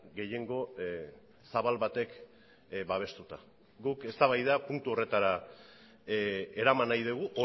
gehiengo zabal batek babestuta guk eztabaida puntu horretara eraman nahi dugu